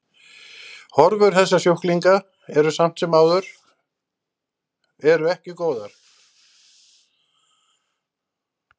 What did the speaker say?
Horfur þessara sjúklinga eru samt sem áður eru ekki góðar.